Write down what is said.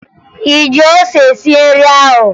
Ị ji ose sie nri ahụ?